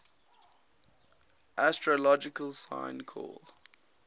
astrological sign called